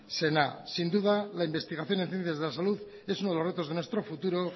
zena sin duda la investigación en ciencias de saludad es uno de los retos de nuestro futuro